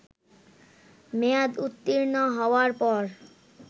মেয়াদ উত্তীর্ণ হওয়ার পর